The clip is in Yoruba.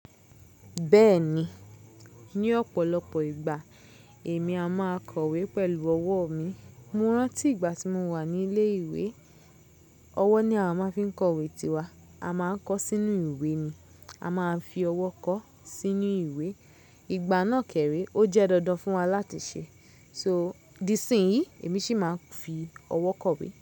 Bẹ́ẹ̀ni, ní ọ̀pọ̀lọpọ̀ ìgbà èmi a máa kọ̀wé pẹ̀lú ọwọ́ mi. Mo rántí ìgbà tí mo wà ní ilé ìwé, ọwọ́ ni a máa fi ń kọ̀wé tiwa, a máa ń kọ sínú ìwé ni, a máa ń fi ọwọ́ kọ sínú ìwé. Ìgbà náà kéré ó jẹ́ dandan fún wa láti ṣe. So, di sí ìsìn yìí èmi sì máa ń fi ọwọ́ kọ̀wé.